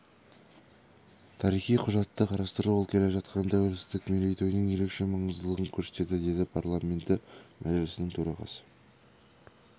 тарихи құжатты қарастыру ол келе жатқан тәуелсіздік мерейтойының ерекше маңыздылығын көрсетеді деді парламенті мәжілісінің төрағасы